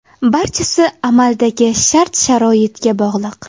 Barchasi amaldagi shart-sharoitga bog‘liq.